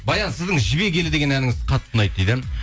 баян сіздің жібек елі деген әніңіз қатты ұнайды дейді